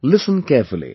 Listen carefully